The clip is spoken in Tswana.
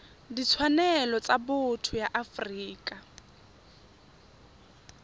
ditshwanelo tsa botho ya afrika